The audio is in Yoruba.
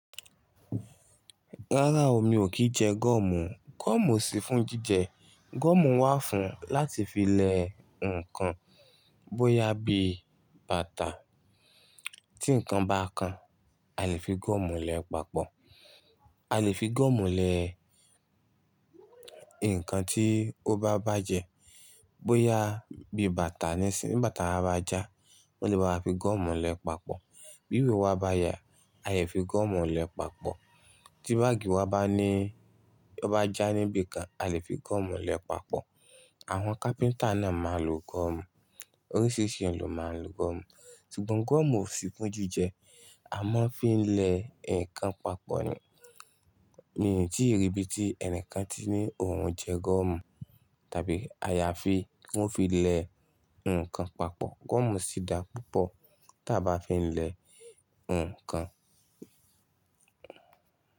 Rárá o, mi ò kín jẹ gọ́ọ̀mù. Gọ́ọ̀mù ò sí fún jíjẹ. Gọ́ọ̀mù wà fún láti fi lẹ ǹkan, bó yá bí bàtà. Tí ǹkan bá kan, a lè fi gọ́ọ̀mù lẹ papọ̀. A lè fi gọ́ọ̀mù lẹ ǹkan tí ó bá bàjẹ́. Bó yá bí bàtà nísìń, nígbà tí bàtà wa bá já, wọ́n lè báa wa fi gọ́ọ̀mù lẹ papọ̀. Bí ìwé wa bá ya, a lè fi gọ́ọ̀mù lẹ papọ̀. Tí báàgì wa bá ní, ó bá já níbi kan, a lè fi gọ́ọ̀mù lẹ papọ̀. Àwọn kápíntà náà máa ń lo gọ́ọ̀mù. Oríṣiríṣi ẹ́yan lọ̀ máa ń lo gọ́ọ̀mù. Sugbon gọ́ọ̀mù ò sí fún jíjẹ. A máa ń fi lẹ ǹkan papọ̀ nìyẹn. Mi ò tíì rí ibi tí ẹni kan ti ní òun jẹ gọ́ọ̀mù, tàbí ayafi wọ́n fi lẹ ǹkan papọ̀. Gọ́ọ̀mù sì dá púpọ̀ tí a bá fi lẹ ǹkan.